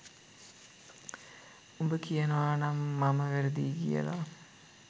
උඹ කියනවා නම් මම වැරදියි කියල